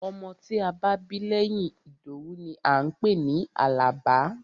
Ọmọ tí a bá bí lẹ́yìn Ìdòwú ni à ń pè ní Àlàbá.